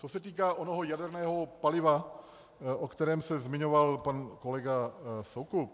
Co se týká onoho jaderného paliva, o kterém se zmiňoval pan kolega Soukup.